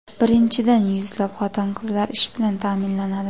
Birinchidan, yuzlab xotin-qizlar ish bilan ta’minlanadi.